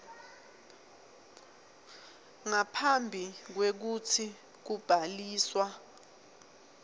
ngaphambi kwekutsi kubhaliswa